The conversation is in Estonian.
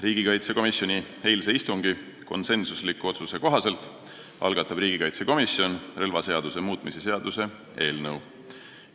Riigikaitsekomisjoni eilse istungi konsensusliku otsuse kohaselt algatab riigikaitsekomisjon relvaseaduse muutmise seaduse eelnõu.